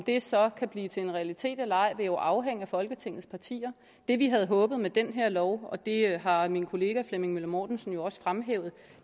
det så kan blive til en realitet eller ej vil jo afhænge af folketingets partier det vi havde håbet med den her lov og det har har min kollega herre flemming møller mortensen jo også fremhævet